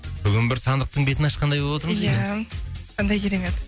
бүгін бір сандықтың бетін ашқандай болып отырмыз ия қандай керемет